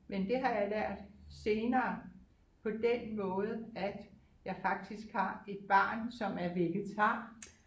Men det har jeg lært senere på den måde at jeg faktisk har et barn som er vegetar